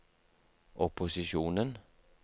opposisjonen